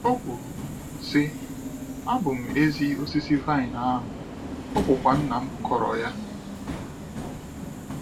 O kwuru, sị: “Abụ m ezi osisi vaịn ahu, ọ bụkwa nnam kụrụ ya.”